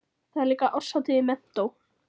Það er líka árshátíð í menntó.